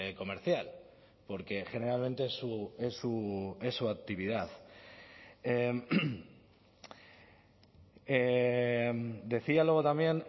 comercial porque generalmente es su actividad decía luego también